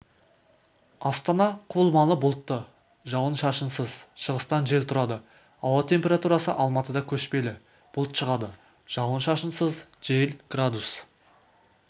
астанада құбылмалы бұлтты жауын-шашынсыз шығыстан жел тұрады ауа температурасы алматыда көшпелі бұлт шығады жауын-шашынсыз жел градус